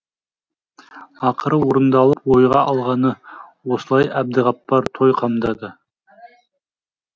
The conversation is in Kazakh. ақыры орындалып ойға алғаны осылай әбдіғаппар той қамдады